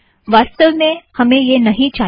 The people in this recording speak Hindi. वासतव में हमें यह नहीं चाहिए